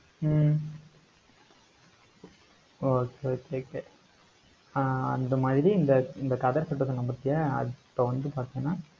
ஹம் okay okay okay ஆஹ் அந்த மாதிரி, இந்த, இந்த கதர் சட்டை சொன்னேன் பாத்தியா அப்ப வந்து பார்த்தேன்னா